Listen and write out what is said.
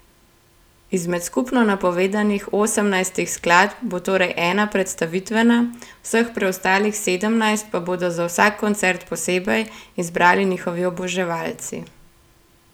Izmed skupno napovedanih osemnajstih skladb bo torej ena predstavitvena, vseh preostalih sedemnajst pa bodo za vsak koncert posebej izbrali njihovi oboževalci.